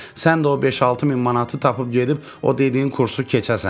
Sən də o beş-altı min manatı tapıb gedib o dediyin kursu keçəsən.